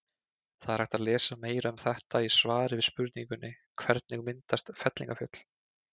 Það er hægt að lesa meira um þetta í svari við spurningunni Hvernig myndast fellingafjöll?